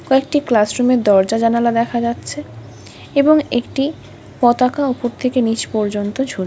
কয়েকটি class room এর দরজা জানালা দেখা যাচ্ছে এবং একটি পতাকা উপর থেকে নিচ পর্যন্ত ঝুল--